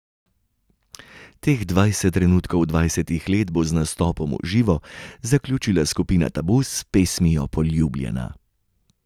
Teh dvajset trenutkov dvajsetih let bo z nastopom v živo zaključila skupina Tabu s pesmijo Poljubljena.